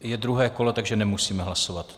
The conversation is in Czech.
Je druhé kolo, takže nemusíme hlasovat.